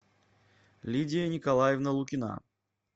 лидия николаевна лукина